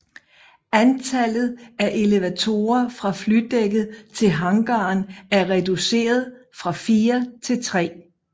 Antallet af elevatorer fra flydækket til hangaren er reduceret fra fire til tre